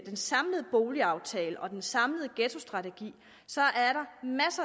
den samlede boligaftale og den samlede ghettostrategi